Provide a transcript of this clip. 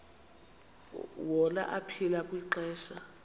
wona aphila kwixesha